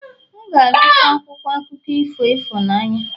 M ga-azụta akwụkwọ akụkọ ifo ịhụnanya